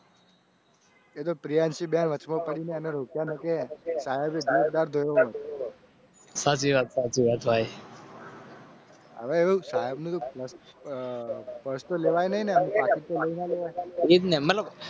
પ્રિયાંશીપ્રિયાંશીહવે